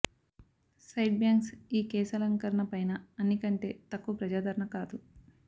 side bangs ఈ కేశాలంకరణ పైన అన్ని కంటే తక్కువ ప్రజాదరణ కాదు